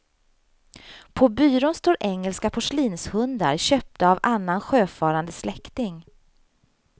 På byrån står engelska porslinshundar köpta av annan sjöfarande släkting.